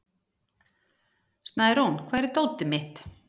Snærún, hvar er dótið mitt?